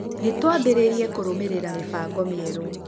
nĩ twambĩrĩirie kũrũmĩrĩra mĩbango mĩerũ